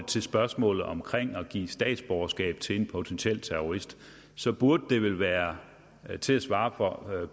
til spørgsmålet om at give statsborgerskab til en potentiel terrorist burde det vel være til at svare